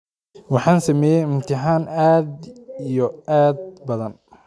Waxan sumeye mtihana aad iyo aad badhaan.